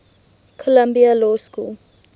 columbia law school